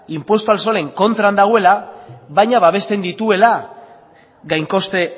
inpuesto al solen kontra dagoela baina babesten dituela gain koste